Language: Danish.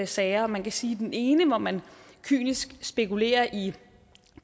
sager man kan sige den ene hvor man kynisk spekulerer i